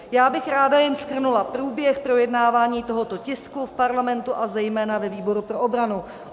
Já bych ráda jen shrnula průběh projednávání tohoto tisku v Parlamentu a zejména ve výboru pro obranu.